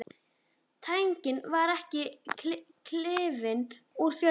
Tanginn varð ekki klifinn úr fjörunni.